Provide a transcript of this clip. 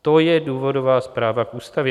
To je důvodová zpráva k ústavě.